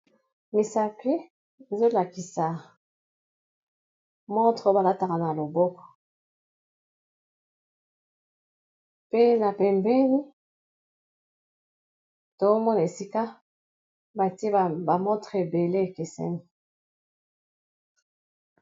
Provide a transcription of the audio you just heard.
Misapi ezolakisa motre o balataka na loboko pe na pembeni toomona esika batiebamotre ebele ekeseni.